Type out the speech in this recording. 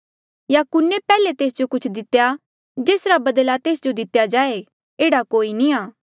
या कुन्ने पैहले तेस जो कुछ दितेया जेसरा बदला तेस जो दितेया जाए एह्ड़ा कोई नी आ